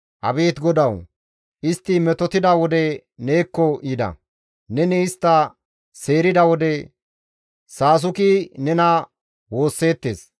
Abeet GODAWU! Istti metotida wode neekko yida; Neni istta seerida wode, saasuki nena woosseettes.